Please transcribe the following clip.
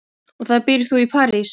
Og hvar býrð þú í París?